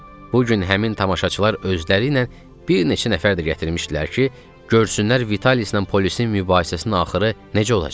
Bu gün həmin tamaşaçılar özləri ilə bir neçə nəfər də gətirmişdilər ki, görsünlər Vitalislə polisin mübahisəsinin axırı necə olacaq.